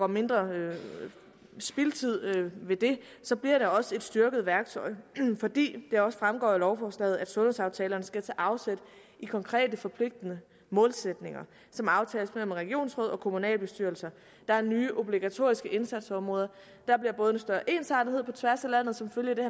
mindre spildtid ved det så bliver det også et styrket værktøj fordi det også fremgår af lovforslaget at sundhedsaftalerne skal tage afsæt i konkrete forpligtende målsætninger som aftales mellem regionsråd og kommunalbestyrelser der er nye obligatoriske indsatsområder der bliver både en større ensartethed på tværs af landet som følge af det